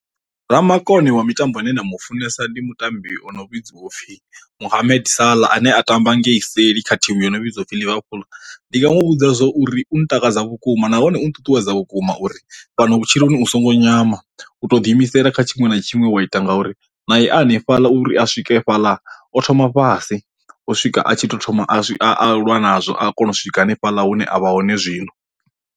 Ra makone wa mitambo ane nda mu funesa ndi mutambi o no vhidziwa upfhi Muhummed Sala ane a tamba ngei seli kha thimu yo no vhidziwa upfhi Liverpool, ndi nga mu vhudza zwo uri u ntakadza vhukuma nahone u nṱuṱuwedza vhukuma uri fhano vhutshiloni u songo nyama u to ḓi imisela kha tshinwe na tshinwe wa ita ngauri na i hanefhaḽa uri a swike fhaḽa o thoma fhasi u swika a tshi to thoma a a lwa nazwo a kona u swika hanefhaḽa hune avha hone zwino.